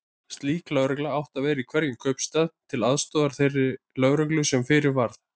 Slík lögregla átti að vera í hverjum kaupstað, til aðstoðar þeirri lögreglu sem fyrir var.